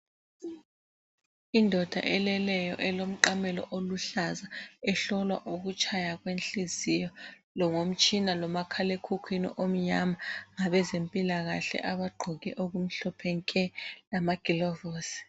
Indoda eleleyo elomqamelo oluhlaza ihlolwa ukutshaya kwenhliziyo ngomtshina lomakhalekhukwini omnyama ngabezempilakahle abagqoke ezimhlophe nke lamagilovusi.